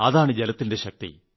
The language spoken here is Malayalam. അതാണ് ജലത്തിന്റെ ശക്തി